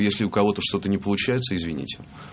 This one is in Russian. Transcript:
если у кого-то что-то не получается извините